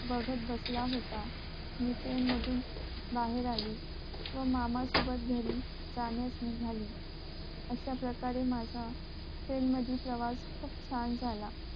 बघत बसला होता मी train मधून बाहेर आली व मामा सोबत घरी जाण्यास निगाली अश्या प्रकारे माझा train मधील प्रवास खूप छान झाला